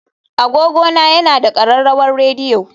Agogona yana da ƙararrawar rediyo